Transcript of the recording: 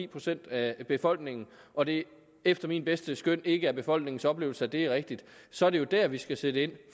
procent af befolkningen og det efter mit bedste skøn ikke er befolkningens oplevelse at det er rigtigt så er det jo der vi skal sætte ind